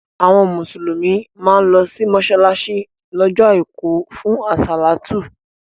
Àwọn Mùsùlùmí má ń lọ sí mọ́ṣáláṣí lọ́jọ́ àìkú fún àsálàtú